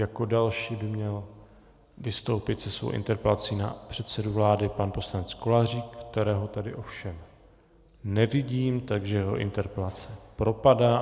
Jako další by měl vystoupit se svou interpelací na předsedu vlády pan poslanec Kolářík, kterého tady ovšem nevidím, takže jeho interpelace propadá.